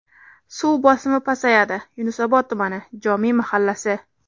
Suv bosimi pasayadi: Yunusobod tumani: Jomiy mahallasi.